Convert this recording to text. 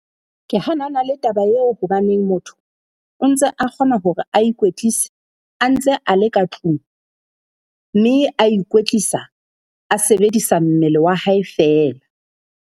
Ke hanana le taba eo hobaneng motho o ntse a kgona hore a ikwetlise a ntse a le ka tlung, mme a ikwetlisa a sebedisa mmele wa hae feela.